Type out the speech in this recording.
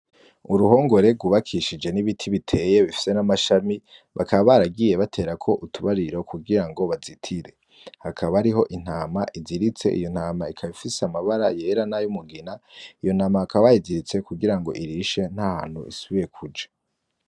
Uruhongore rwubakishije n'ibiti biteye bifise n'amashami, bakaba baragiye baterako utubariro kugira ngo bazitire. Hakaba hariho intama iziritse, iyo ntama ikaba ifise amabara yera n'ay'umugina, iyo ntama bakaba bayiziritse kugira ngo irishe, nta hantu isubiye kuja.